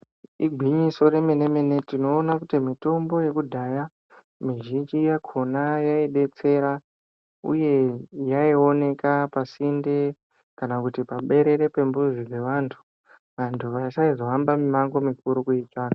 Igwinyiso remenemene tinoona kuti mitombo yekudhaya mizhinji yakona yaidetsera uye yaioneka pasinte kana kuti paberere pembuzi yevanthu vanthu vasaizohamba mimango mikuru kuitsvaka.